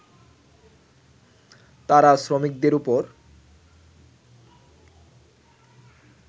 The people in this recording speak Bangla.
তারা শ্রমিকদের ওপর